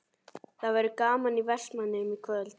Það verður gaman í Vestmannaeyjum í kvöld?